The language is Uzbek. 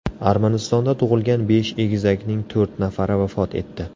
Armanistonda tug‘ilgan besh egizakning to‘rt nafari vafot etdi.